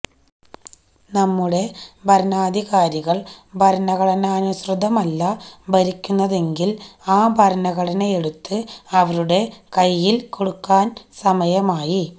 നമ്മുടെ ഭരണാധികാരികള് ഭരണഘടനാനുസൃതമല്ല ഭരിക്കുന്നതെങ്കില് ആ ഭരണഘടനയെടുത്ത് അവരുടെ കൈയില് കൊടുക്കാന് സമയായി